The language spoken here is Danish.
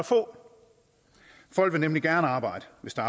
få folk vil nemlig gerne arbejde hvis der